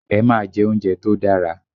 Ẹ máa jẹ́ oúnjẹ tó dára!